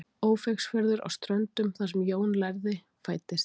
Ófeigsfjörður á Ströndum þar sem Jón lærði fæddist.